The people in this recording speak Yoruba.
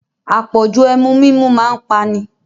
Apọ̀jù Ẹmu mímu máa ń pani